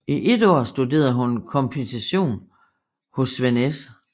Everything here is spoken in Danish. I et år studerede hun komposition hos Svend S